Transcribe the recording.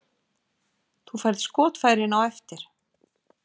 Þú færð skotfærin á eftir.